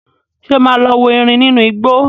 Ṣé o máa lọ wo erin nínú igbó?